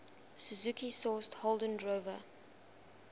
suzuki sourced holden drover